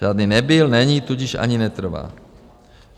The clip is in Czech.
Žádný nebyl, není, tudíž ani netrvá.